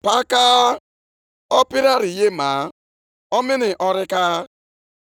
Ugbu a, ihe a ka Onyenwe anyị, Onye pụrụ ime ihe niile na-ekwu, “Lezienụ ụzọ unu anya.